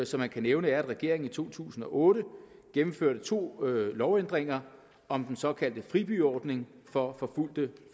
som man kan nævne er at regeringen i to tusind og otte gennemførte to lovændringer om den såkaldte fribyordning for forfulgte